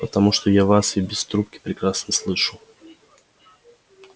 потому что я вас и без трубки прекрасно слышу